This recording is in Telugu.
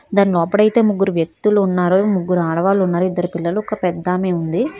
దాని లోపల అయితే ముగ్గురు వ్యక్తులు ఉన్నారు ముగ్గురు ఆడవాళ్లు ఉన్నారు ఇద్దరు పిల్లలు ఒక పెద్ద ఆమె ఉంది.